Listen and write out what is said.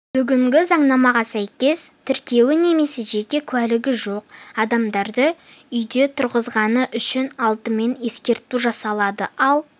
бүгінгі заңнамаға сәйкес тіркеуі немесе жеке куәлігі жоқ адамдарды үйде тұрғызғаны үшін алдымен ескерту жасалады ал